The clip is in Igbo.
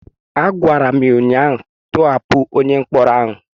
a gwara m ya ụnyahụ,. tọhapụ onye mkpọrọ ahụ!